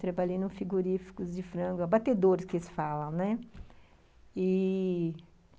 Trabalhei em um frigorífico de frango, abatedor, que eles falam, e